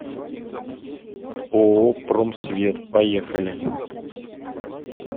ооо промсвет поехали